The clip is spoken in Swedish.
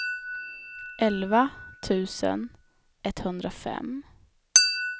elva tusen etthundrafem